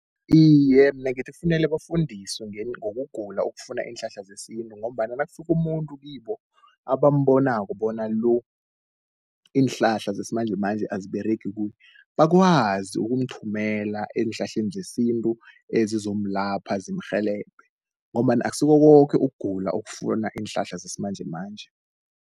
Iye, mina ngithi kufunele bafundiswe ngokugula okufuna iinhlahla zesintu, ngombana nakufika umuntu kibo abambonako bona lo iinhlahla zesimanjemanje aziberegi kuye. Bakwazi ukumthumela eenhlahleni zesintu ezizomlapha zimrhelebhe, ngombana akusiko koke ukugula okufuna iinhlahla zesimanjemanje.